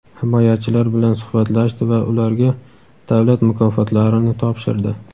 himoyachilar bilan suhbatlashdi va ularga davlat mukofotlarini topshirdi.